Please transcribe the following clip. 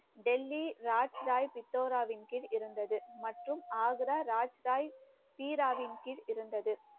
டெல்லி ராஜ் ராய் பித்தோராவின் கீழ் இருந்தது. மற்றும் ஆக்ரா ராஜ்டாய் ஹீராவின் கீழ் இருந்தது